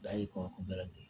Dayiri kɔɲɔkun bɛ ten